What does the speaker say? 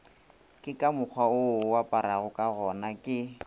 ke ka mokgwawo oaparagokagona ke